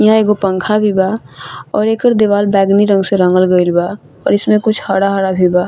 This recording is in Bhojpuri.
यहां एगो पंखा भी बा और एकर देवाल बैगनी रंग से रंगल गईल बा और इसमे कुछ हर-हरा भी बा।